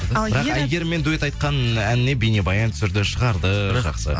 әйгеріммен дуэт айтқан әніне бейнебаян түсірді шығарды жақсы